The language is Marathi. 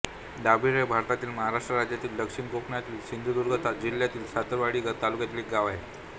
दाभिळ हे भारतातील महाराष्ट्र राज्यातील दक्षिण कोकणातील सिंधुदुर्ग जिल्ह्यातील सावंतवाडी तालुक्यातील एक गाव आहे